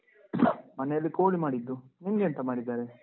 ಮನೆಯಲ್ಲಿ ಕೋಳಿ ಮಾಡಿದ್ದು. ನಿಮ್ಗೆಂತ ಮಾಡಿದ್ದಾರೆ?